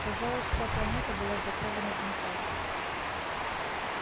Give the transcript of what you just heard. казалось вся планета была закована в металл